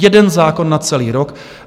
Jeden zákon na celý rok.